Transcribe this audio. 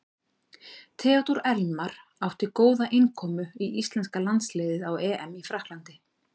Theodór Elmar átti góða innkomu í íslenska landsliðið á EM í Frakklandi.